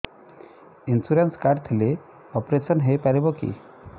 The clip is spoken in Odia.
ଇନ୍ସୁରାନ୍ସ କାର୍ଡ ଥିଲେ ଅପେରସନ ହେଇପାରିବ କି